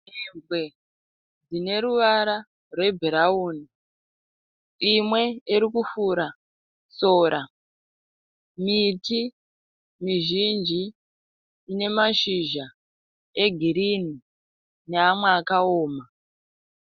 Mhembwe dzine ruvara rwebhurauni. Imwe iri kufura sora. Miti mizhinji ine mashizha egirinhi neamwe akaoma.